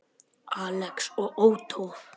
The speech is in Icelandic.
Alex og Ottó.